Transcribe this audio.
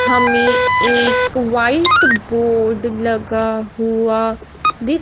हमें एक white board लगा हुआ दिख--